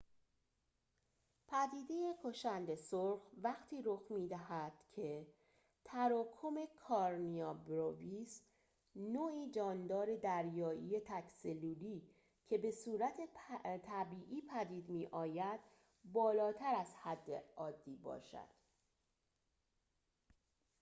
پدیده کشند سرخ وقتی رخ می‌دهد که تراکم کارنیا برویس نوعی جاندار دریایی تک‌سلولی که به‌صورت طبیعی پدید می‌آید بالاتر از حد عادی باشد